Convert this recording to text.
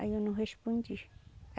Aí eu não respondi.